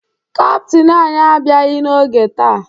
Kaptịn anyị abịaghị n'oge taa